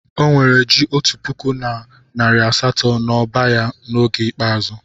O nwere ji otu puku na nari asato n'ọba ya n'oge ikpeazụ.